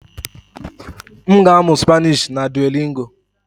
M ga-amụ Spanishi na Duolingo.